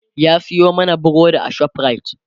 ya Sayo mana burodi a shoprite